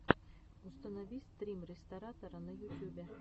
установи стрим ресторатора на ютюбе